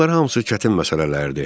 Bunlar hamısı çətin məsələlərdir.